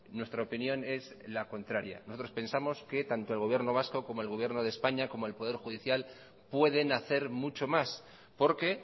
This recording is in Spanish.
nuestra opinión es la contraria nosotros pensamos que tanto el gobierno vasco como el gobierno de españa como el poder judicial pueden hacer mucho más porque